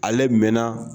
Ale mɛnna